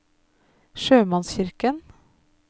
sjømannskirken